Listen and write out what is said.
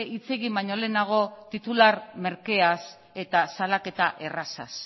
hitz egin baino lehenago titular merkeaz eta salaketa errazaz